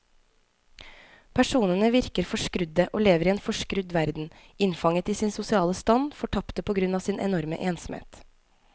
Personene virker forskrudde og lever i en forskrudd verden, innfanget i sin sosiale stand, fortapte på grunn av sin enorme ensomhet.